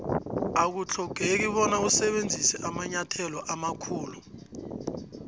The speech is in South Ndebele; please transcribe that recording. akuthlogeki bona usebenzise amanyathelo amakhulu